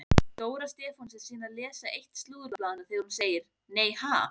Dóra Stefáns er síðan að lesa eitt slúðurblaðanna þegar hún segir: Nei ha?